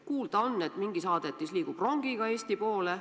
Kuulda on, et mingi saadetis liigub rongiga Eesti poole.